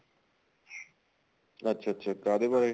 ਅੱਛਾ ਅੱਛਾ ਕਾਹਦੇ ਬਾਰੇ